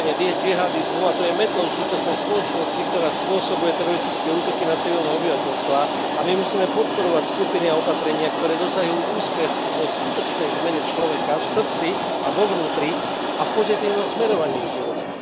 Šírenie džihádizmu, a to je metlou súčasnej spoločnosti, ktorá spôsobuje teroristické útoky na civilné obyvateľstvá, a my musíme podporovať skupiny a opatrenia, ktoré dosahujú úspech v skutočnej zmene človeka v srdci a vo vnútri a v pozitívnom smerovaní ich života.